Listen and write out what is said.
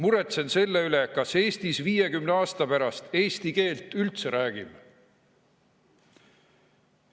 Ta on mures, kas me Eestis 50 aasta pärast eesti keelt üldse räägime.